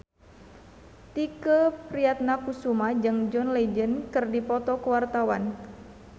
Tike Priatnakusuma jeung John Legend keur dipoto ku wartawan